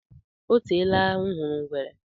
O teela oge m hụrụ ngwere.